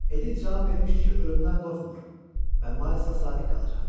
Edit cavab vermişdi ki, ölümdən qorxmur və Maylsa sadiq qalacaqdı.